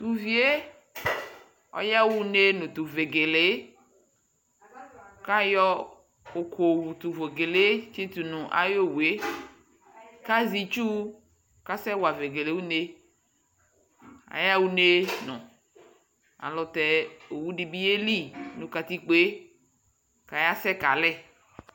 tʋɔvie ayahaʋne nʋ tʋ vegelee kʋyɔ ʋkɔ yɔwʋto vegelee tsitʋnʋ ayɔwʋe kaƶɛ itsʋʋ kasɛwa vegele ʋnee ayaha ʋneenʋŋ ayɛlʋtɛ owʋɖibi yeli nʋ katikpoe kayasɛ kalɛ